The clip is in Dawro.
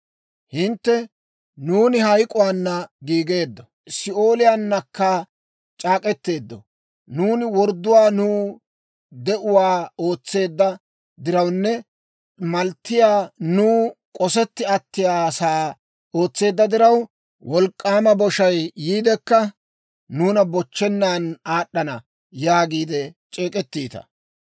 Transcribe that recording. Hintte, «Nuuni hayk'k'uwaana giigeeddo; Si'ooliyaanakka c'aak'k'eteeddo; nuuni wordduwaa nuw de'uwaa ootseedda dirawunne malttiyaa nuw k'osetti attiyaasaa ootseedda diraw, wolk'k'aama boshay yiidekka nuuna bochchennan aad'd'ana» yaagiide c'eek'ettiita.